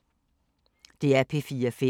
DR P4 Fælles